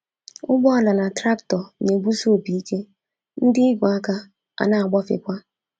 Ụgbọala na traktọ na-egbusi opi ike, ndị ígwè aka a na-agbafekwa.